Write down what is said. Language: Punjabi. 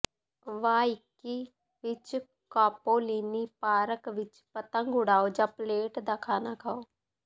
ਵਾਇਕੀ ਵਿਚ ਕਾਪੋਲੀਨੀ ਪਾਰਕ ਵਿਚ ਪਤੰਗ ਉਡਾਓ ਜਾਂ ਪਲੇਟ ਦਾ ਖਾਣਾ ਖਾਓ